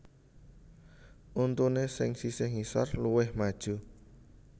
Untuné sing sisih ngisor luwih maju